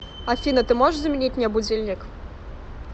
афина ты можешь заменить мне будильник